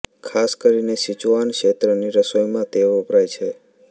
ખાસ કરીને સીચુઆન ક્ષેત્રની રસોઈમાં તે વપરાય છે